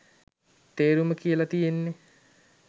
තේරුම කියල තියෙන්නෙ